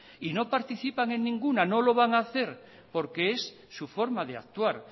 y no participan en ninguna y no lo van a hacer porque es su forma de actuar